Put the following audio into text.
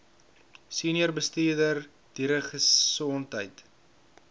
senior bestuurder dieregesondheid